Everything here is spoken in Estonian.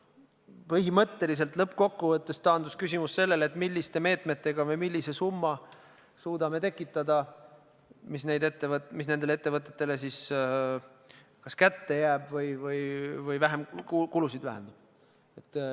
Põhimõtteliselt lõppkokkuvõttes taandus küsimus sellele, millise summa me suudame tekitada – mõtlen summat, mis nendele ettevõtetele kas kätte jääb või kulusid vähendab.